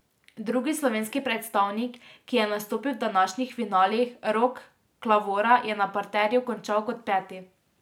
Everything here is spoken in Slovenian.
Drugi slovenski predstavnik, ki je nastopil v današnjih finalih Rok Klavora je na parterju končal kot peti.